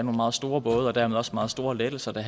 meget store både og dermed også meget store lettelser det